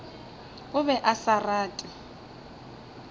o be a sa rate